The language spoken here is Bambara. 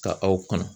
Ka aw kɔnɔ